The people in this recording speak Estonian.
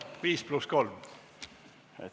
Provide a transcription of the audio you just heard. Viis pluss kolm minutit.